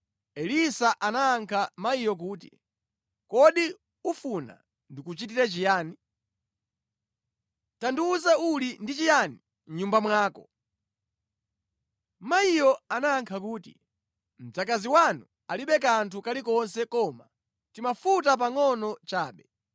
Elisa anayankha mayiyo kuti, “Kodi ufuna ndikuchitire chiyani? Tandiwuza uli ndi chiyani mʼnyumba mwako?” Mayiyo anayankha kuti, “Mdzakazi wanu alibe kanthu kalikonse koma timafuta pangʼono chabe.”